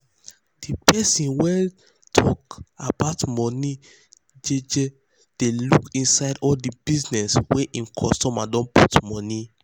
de person wey dey tok about money jeje dey look inside all de business wey hin customer don put money.